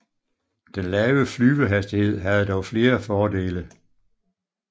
Den lave flyvehastighed havde dog flere fordele